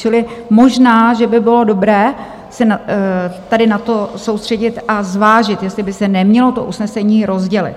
Čili možná že by bylo dobré se tady na to soustředit a zvážit, jestli by se nemělo to usnesení rozdělit.